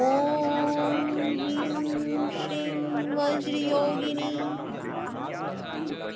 ॐ ह्रीं श्रीं वज्रयोगिनी